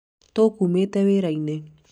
tũkumĩte wĩĩrainĩ